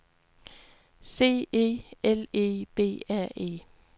C E L E B R E